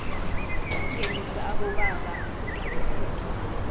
ukungenisa abobaba kucakathekile